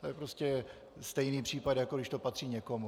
To je prostě stejný případ, jako když to patří někomu.